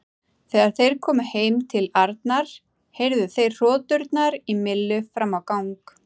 Þegar þeir komu heim til Arnar heyrðu þeir hroturnar í Millu fram á gang.